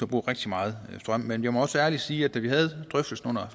bruger rigtig meget strøm men jeg må også ærligt sige at da vi havde drøftelsen under